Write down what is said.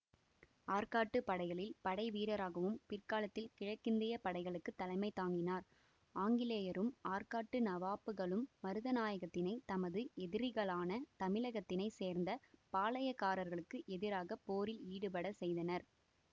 ஆர்க்காட்டு படைகளில் படைவீரராகவும் பிற்காலத்தில் கிழக்கிந்திய படைகளுக்கு தலைமை தாங்கினார்ஆங்கிலேயரும் ஆர்க்காட்டு நவாப்புகளும் மருதநாயகத்தினை தமது எதிரிகளான தமிழகத்தினைச்சேர்ந்த பாளையக்காரர்களுக்கு எதிராக போரில் ஈடுபடச்செய்தனர்